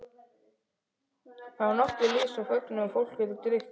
Þá var nokkuð liðið á fögnuðinn og fólk orðið drukkið.